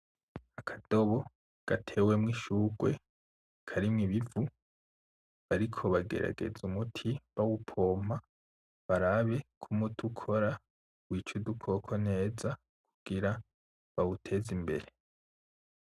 Akadobo gatewemwo ishurwe karimwo ibivu, bariko bagerageza umuti, bawupompa barabe k'umuti ukora wica udukoko neza kugira bawuteze imbere.